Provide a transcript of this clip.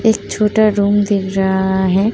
एक छोटा रूम दिख रहा है।